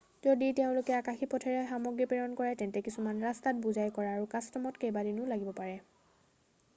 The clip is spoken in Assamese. যদি তেওঁলোকে আকাশী পথেৰে সামগ্ৰী প্ৰেৰণ কৰে তেন্তে কিছুমান ৰাস্তাত বোজাই কৰা আৰু কাষ্টমত কেইবাদিনো লাগিব পাৰে